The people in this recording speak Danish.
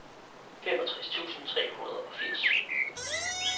femogtres tusind tre hundrede og firs